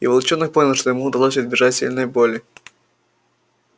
и волчонок понял что ему удалось избежать сильной боли